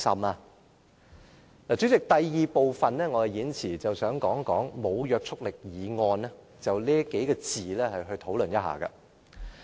代理主席，我想在演辭的第二部分，就"無約束力議案"幾個字討論一下。